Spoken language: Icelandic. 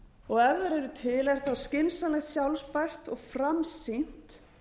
og ef þær eru til er skynsamlegt sjálfbært og framsýnt